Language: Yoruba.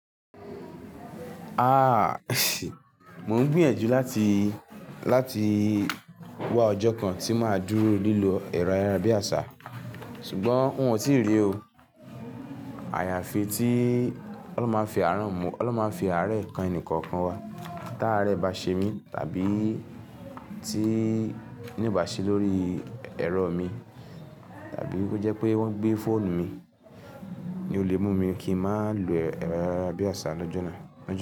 Áà! Mò ń gbìyànjú láti, láti wá ọjọ́ kan tí màá dúró lílo ẹrọ ayárabíàṣá, ṣùgbọ́n n ò tíì rí o. Àyàfi tí Ọlọ́run máa fi àáràn mu, Ọlọ́run má fi àárẹ̀ kan ẹnì kọ̀ọ̀kan wa. Táàárẹ̀ bá ṣe mí, tàbí tí iná ò bá sí lórí ẹ̀rọ mi, tàbí ó jẹ́ pé wọ́n gbé fóònù mi, ni o lè mú mi kí ń má lo ẹ̀rọ ayárabíàṣá lọ́jọ́ náà, lọ́jọ́